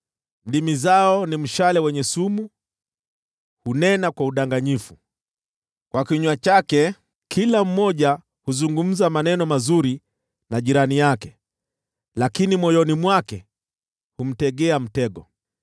Ndimi zao ni mshale wenye sumu, hunena kwa udanganyifu. Kwa kinywa chake kila mmoja huzungumza maneno mazuri na jirani yake, lakini moyoni mwake humtegea mtego.